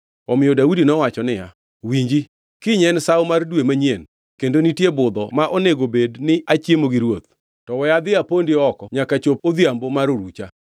Omiyo Daudi nowacho niya, “Winji, kiny en Sawo mar Dwe manyien kendo nitie budho ma onego bed ni achiemo gi ruoth, to we adhi apondi oko nyaka chop odhiambo mar orucha.